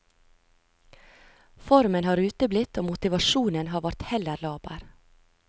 Formen har uteblitt og motivasjonen har vært heller laber.